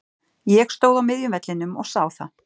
Ég stóð á miðjum vellinum og sá það.